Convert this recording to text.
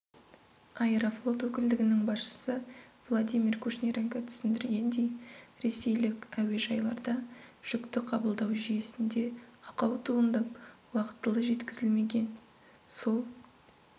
аэрофлот өкілдігінің басшысы владимир кушниренко түсіндіргендей ресейлік әуежайларда жүкті қабылдау жүйесінде ақау туындап уақытылы жеткізілмеген сол